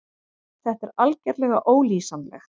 Þetta er algerlega ólýsanlegt.